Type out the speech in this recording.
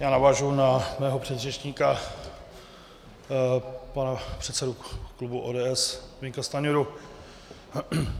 Já navážu na svého předřečníka, pana předsedu klubu ODS Zbyňka Stanjuru.